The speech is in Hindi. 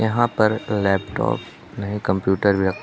यहां पर लैपटॉप नहीं कंप्यूटर भी रखा--